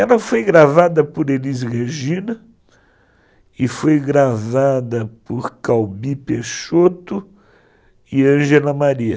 Ela foi gravada por Elis Regina e foi gravada por Calbi Peixoto e Ângela Maria.